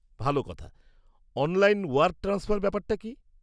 ভালো কথা, online wire transfer ব্যাপারটা কী?